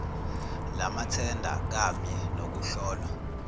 lamathenda kamye nokuhlolwa